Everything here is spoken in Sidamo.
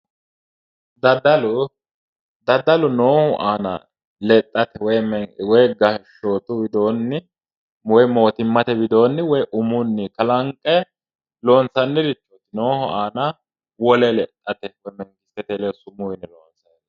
Daddalu daddalu noohu aana lexxate woyiimi loosu widoonni woyi mootimmate widoinni woyi umunni kalanqe loonsanniri noohu aana wole lexxate sumuu yine loonsayi.